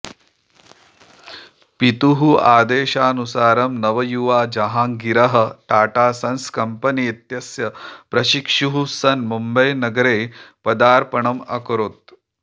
पितुः आदेशानुसारं नवयुवा जहाङ्गीरः टाटा सन्स् कम्पनी इत्यस्य प्रशिक्षुः सन् मुम्बैनगरे पादार्पणम् अकरोत्